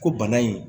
Ko bana in